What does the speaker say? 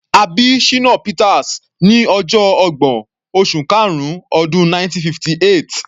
A bí Shina Peters ní ọjọ ọgbọ̀n, oṣù karun, ọdún 1958.